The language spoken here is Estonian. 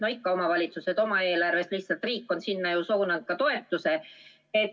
No ikka ka teised omavalitsused teeksid seda oma eelarvest, lihtsalt riik on sinna suunanud ka toetuse.